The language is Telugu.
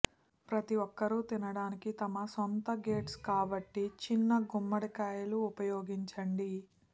ప్రతి ఒక్కరూ తినడానికి తమ సొంత గెట్స్ కాబట్టి చిన్న గుమ్మడికాయలు ఉపయోగించండి